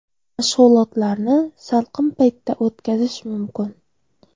Mashg‘ulotlarni salqin paytda o‘tkazish mumkin.